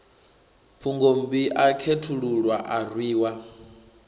phungommbi a khethululwa a rwiwa